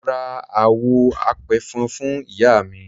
Mo ra àwọ̀ apẹ̀fọn fún Iyaami.